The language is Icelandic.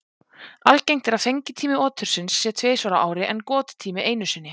Algengt er að fengitími otursins sé tvisvar á ári en gottími einu sinni.